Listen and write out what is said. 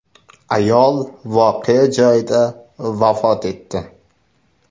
Ayol voqea joyida vafot etdi.